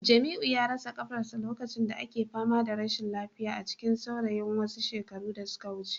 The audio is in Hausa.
Jamiu ya rasa kafarsa a lokacin da ake fama da rashin lafiya a cikin saurayin wasu shekaru da suka wuce